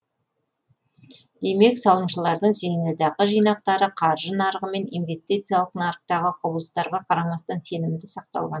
демек салымшылардың зейнетақы жинақтары қаржы нарығы мен инвестициялық нарықтағы құбылыстарға қарамастан сенімді сақталған